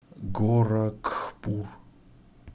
горакхпур